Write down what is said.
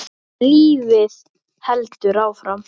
En lífið heldur áfram.